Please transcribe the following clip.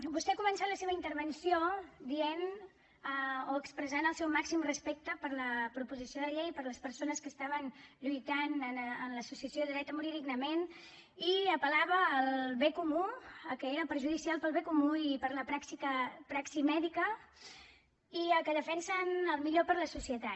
vostè ha començat la seva intervenció dient o expressant el seu màxim respecte per la proposició de llei per les persones que estaven lluitant en l’associació dret a morir dignament i apel·lava al bé comú a que era perjudicial per al bé comú i per a la praxi mèdica i a que defensen el millor per a la societat